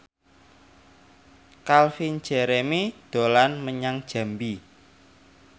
Calvin Jeremy dolan menyang Jambi